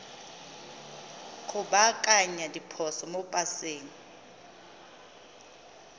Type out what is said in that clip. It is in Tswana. go baakanya diphoso mo paseng